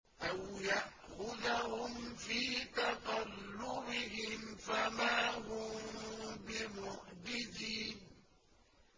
أَوْ يَأْخُذَهُمْ فِي تَقَلُّبِهِمْ فَمَا هُم بِمُعْجِزِينَ